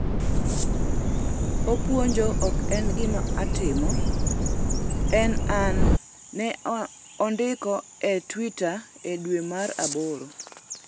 Opuonjo ok en gima atimo, en an'', ne ondiko e twita e dwe mar aboro.